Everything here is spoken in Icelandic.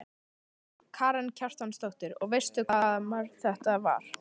Karen Kjartansdóttir: Og veistu eitthvað hvaða maður þetta var?